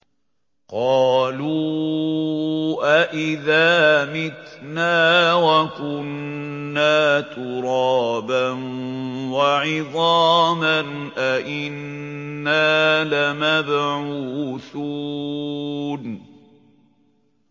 قَالُوا أَإِذَا مِتْنَا وَكُنَّا تُرَابًا وَعِظَامًا أَإِنَّا لَمَبْعُوثُونَ